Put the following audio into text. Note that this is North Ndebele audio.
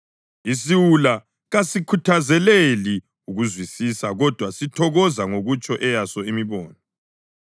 Isiwula kasikuthakazeleli ukuzwisisa kodwa sithokoza ngokutsho eyaso imibono.